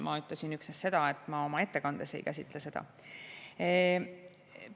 Ma ütlesin üksnes seda, et ma oma ettekandes ei käsitle seda teemat.